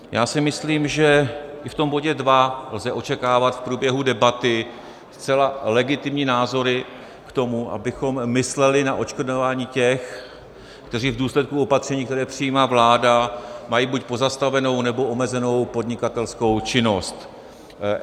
Já si myslím, že i v tom bodě 2 lze očekávat v průběhu debaty zcela legitimní názory k tomu, abychom mysleli na odškodňování těch, kteří v důsledku opatření, které přijímá vláda, mají buď pozastavenou, nebo omezenou podnikatelskou činnost.